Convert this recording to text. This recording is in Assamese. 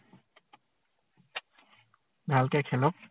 ভালকে খেলক।